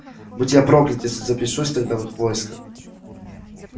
будь я проклят если запишусь тогда в их войско